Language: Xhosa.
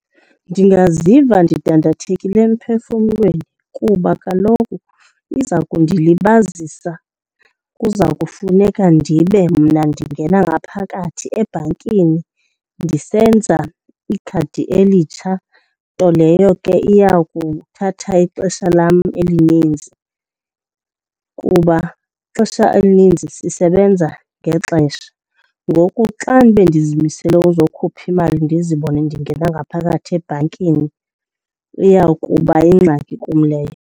Ndingaziva ndidandathekile emphefumlweni kuba kaloku iza kundilibazisa. Kuza kufuneka ndibe mna ndingena ngaphakathi ebhankini ndisenza ikhadi elitsha, nto leyo ke iya kuthatha ixesha lam elininzi kuba ixesha elininzi sisebenza ngexesha. Ngoku xa bendizimisele uzokhupha imali ndizibone ndingena ngaphakathi ebhankini, iya kuba yingxaki kum leyo.